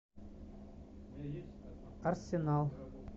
арсенал